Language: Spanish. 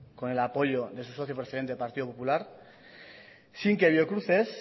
con el apoyo de su socio preferente partido popular sin que biocruces